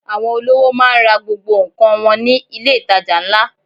Àwọn olówò máa ń ra gbogbo nǹkan wọn ní ilé-itàjà ńlá.